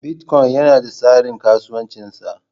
Bitcoin yana da tsarin kasuwancin sa.